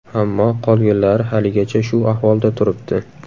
Ammo qolganlari haligacha shu ahvolda turibdi.